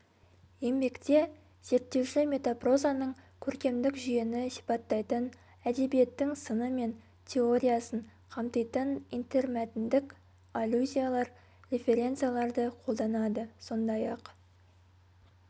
еңбекте зерттеуші метапрозаның көркемдік жүйені сипаттайтын әдебиеттің сыны мен теориясын қамтитын интермәтіндік аллюзиялар референцияларды қолданады сондай-ақ